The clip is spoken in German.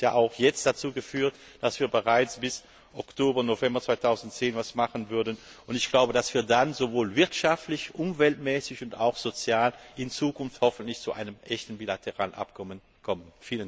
Das hat ja auch jetzt dazu geführt, dass wir bereits bis Oktober November 2010 etwas machen würden, und ich glaube, dass wir dann wirtschaftlich, umweltmäßig und auch sozial in Zukunft hoffentlich zu einem echten bilateralen Abkommen kommen.